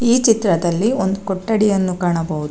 ಈ ಚಿತ್ರದಲ್ಲಿ ಒಂದು ಕೊಠಡಿಯನ್ನು ಕಾಣಬಹುದು.